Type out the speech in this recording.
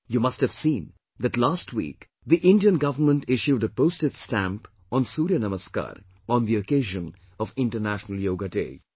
You must have seen that last week the Indian government issued a postage stamp on 'Surya Namaskar' on the occasion of International Yoga Day